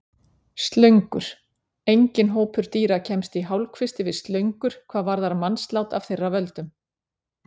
Slöngur Enginn hópur dýra kemst í hálfkvisti við slöngur hvað varðar mannslát af þeirra völdum.